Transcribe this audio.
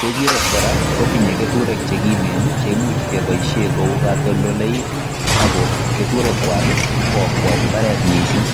Kechirek kora kotinye keturek che kimen che imuch keboishen koukatoltoleik ak ko keturekwak ko akwai mbaret mising.